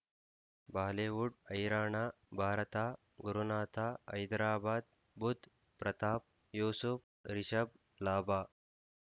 Bollywood ಹೈರಾಣ ಭಾರತ ಗುರುನಾಥ ಹೈದರಾಬಾದ್ ಬುಧ್ ಪ್ರತಾಪ್ ಯೂಸುಫ್ ರಿಷಬ್ ಲಾಭ